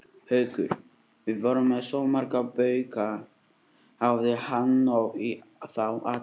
Haukur: Þið voruð með svo marga bauka, hafði hann nóg í þá alla?